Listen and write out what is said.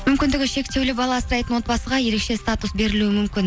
мүмкіндігі шектеулі бала асырайтын отбасыға ерекше статус берілуі мүмкін